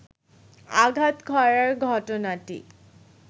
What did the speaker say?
আঘাত করার ঘটনাটি